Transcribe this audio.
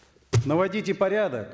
наводите порядок